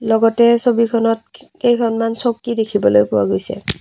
লগতে ছবিখনত কেইখনমান চকী দেখিবলৈ পোৱা গৈছে।